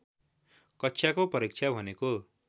कक्षाको परीक्षा भनेको